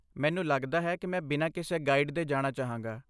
ਮੈਨੂੰ ਲੱਗਦਾ ਹੈ ਕਿ ਮੈਂ ਬਿਨਾਂ ਕਿਸੇ ਗਾਈਡ ਦੇ ਜਾਣਾ ਚਾਹਾਂਗਾ।